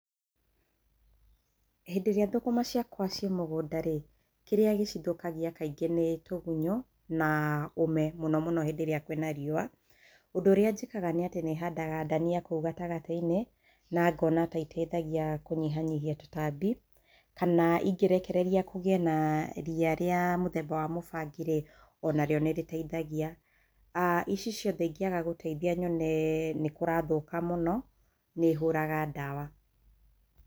Hĩndĩ ĩrĩa thũkũma ciakwa ci mũgũnda rĩ, kĩrĩa gĩcithũkagia kaingĩ nĩ tũgunyũ na ũme mũno mũno hĩndĩ ĩrĩa kwĩ na rĩua. Ũndũ ũrĩa njĩkaga nĩ atĩ nĩ handaga ndania kũu gatagatĩ-inĩ na ngona taiteithagia kũnyihanyihia tũtambi kana ingĩrekereria kũgĩe na ria rĩa mũthemba wa mũbangi, o na rĩo nĩ rĩteithagia. Ici ciothe cingĩaga gũteithia nyone nĩ kũrathuka mũno nĩ hũraga ndawa.